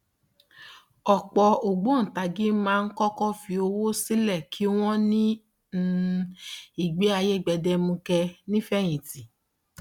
ọpọ ògbóǹkangí máa ń kọkọ fi owó sílẹ kí wọn ní um ìgbé ayé gbẹdẹmukẹ ní ìfẹyìntì